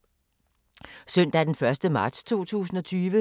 Søndag d. 1. marts 2020